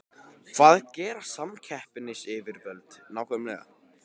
Hvað gera samkeppnisyfirvöld nákvæmlega?